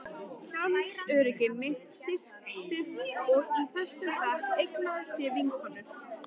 Sjálfsöryggi mitt styrktist og í þessum bekk eignaðist ég vinkonur.